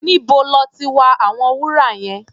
Níbo lọ́ ti wa àwọn wúrà yẹn?